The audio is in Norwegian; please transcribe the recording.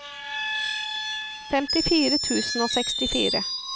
femtifire tusen og sekstifire